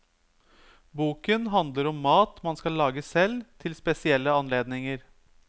Boken handler om mat man skal lage selv til spesielle anledninger.